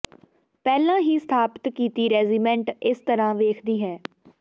ਪਹਿਲਾਂ ਹੀ ਸਥਾਪਿਤ ਕੀਤੀ ਰੈਜੀਮੈਂਟ ਇਸ ਤਰ੍ਹਾਂ ਵੇਖਦੀ ਹੈ